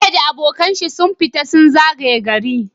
bello da abokan shi sun fita su zagaya gari